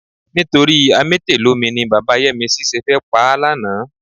Nítorí amétèlómi ni bàbá Yẹ́misí ṣe fẹ́ pa á lánàá.